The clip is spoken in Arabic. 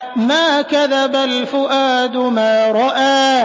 مَا كَذَبَ الْفُؤَادُ مَا رَأَىٰ